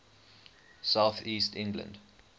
south east england